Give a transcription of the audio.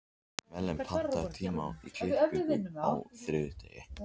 Malen, pantaðu tíma í klippingu á þriðjudaginn.